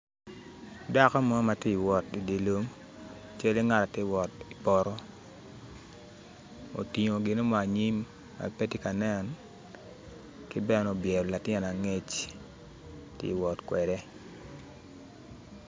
Dako mo ma tye ka wot idye lum cal ki ngat ma tye ka wot i dye poto otingo gin mo anyim ma pa pe tye ka nen ki bene obyelo latin angec tye ka wot kwede.